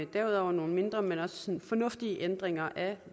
derudover nogle mindre men også fornuftige ændringer af